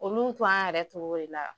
Olu yɛrɛ cogo de la.